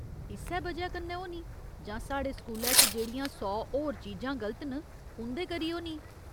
इस्सै वजह कन्नै होनी जां साढ़े स्कूलै च जेह्ड़ियां सौ होर चीजां गलत न, उं'दे करी होनी ।